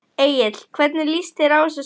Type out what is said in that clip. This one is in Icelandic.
Egill hvernig líst þér á þessa stöðu?